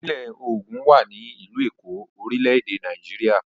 Ìpínlẹ̀ Ògùn wà ní ìlú Èkó, orílẹ̀-èdè Nàìjíríà.